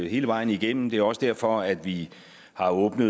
hele vejen igennem det er også derfor at vi har åbnet